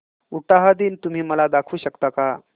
उटाहा दिन तुम्ही मला दाखवू शकता का